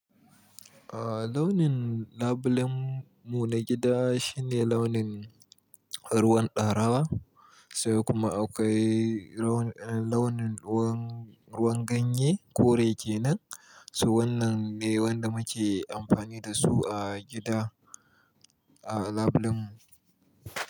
A launin labulen mu na gida shine launin ruwan ɗaurawa sai kuma akwai launin ruwan, ruwan ganye kore kenan. Toh, wannan ne waɗanda muke amfani da su a gida a labulen mu.